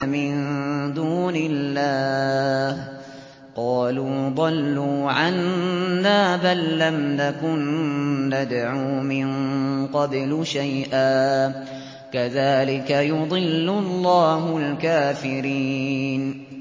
مِن دُونِ اللَّهِ ۖ قَالُوا ضَلُّوا عَنَّا بَل لَّمْ نَكُن نَّدْعُو مِن قَبْلُ شَيْئًا ۚ كَذَٰلِكَ يُضِلُّ اللَّهُ الْكَافِرِينَ